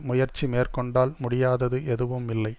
முயற்சி மேற்கொண்டால் முடியாதது எதுவுமில்லை